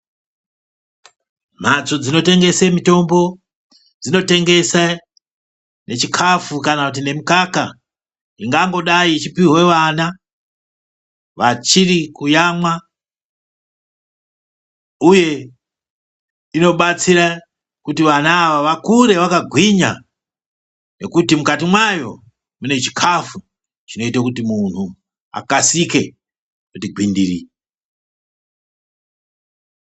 Mhatso dzinotengese mitombo dzinotengesa nechikhafu kana kuti nemukaka, ingangodai ichipihwe vana vachiri kuyamwa. Uye inobatsira kuti vana ava vakure vakagwinya, ngekuti mukati mwayo mune chikhafu chinoite kuti munhu akasike kuti gwindiri.